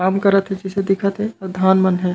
काम करत हे जैसे दिखत हे आऊ धान मन हे।